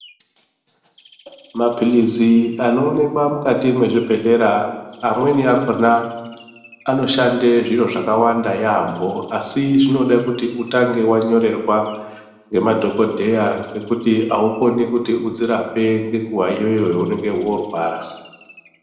Maphilizi anoonekwa mukati mwezvibhedhlera amweni akona anoshande zviro zvakawanda yambo asi zvinode kuti uatange wanyorerwa ngemadhokodheya ngekuti aukoni kuti udzirape ngenguwa iyoyo yaunenge worwara.